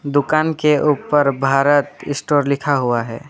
दुकान के ऊपर भारत स्टोर लिखा हुआ है।